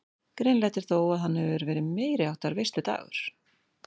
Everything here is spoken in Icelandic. Greinilegt er þó að hann hefur verið meiriháttar veisludagur.